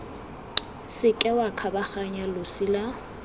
seke wa kgabaganya losi la